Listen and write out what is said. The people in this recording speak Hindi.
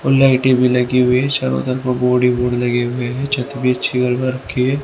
और लाइटे भी लगी हुई है चारों तरफ बोर्ड ही बोर्ड लगे हुए हैं छत भी अच्छी रखी है।